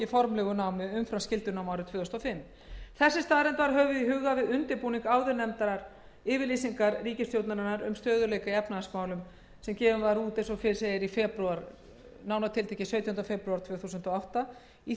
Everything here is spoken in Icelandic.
formlegu námi umfram skyldunám árið tvö þúsund og fimm þessi staðreynd var höfð í huga við undirbúning áðurnefndrar yfirlýsingar ríkisstjórnarinnar um stöðugleika í efnahagsmálum sem gefin var út sautjánda febrúar tvö þúsund og átta í